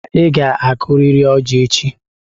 Chioma, ị ga-akụtịrị ọjị echi!